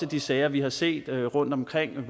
de sager vi har set rundtomkring